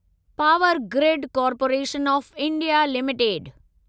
power grid corporation of India limited